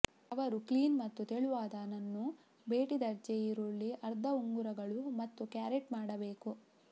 ಅವರು ಕ್ಲೀನ್ ಮತ್ತು ತೆಳುವಾದ ನನ್ನು ಭೇಟಿ ದರ್ಜೆ ಈರುಳ್ಳಿ ಅರ್ಧ ಉಂಗುರಗಳು ಮತ್ತು ಕ್ಯಾರೆಟ್ ಮಾಡಬೇಕು